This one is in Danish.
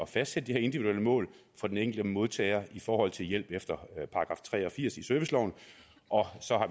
fastsætte de her individuelle mål for den enkelte modtager i forhold til hjælp efter § tre og firs i serviceloven og